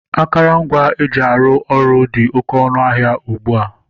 Akụrụngwa eji arụ ọrụ dị oké ọnụ ahịa ugbu a.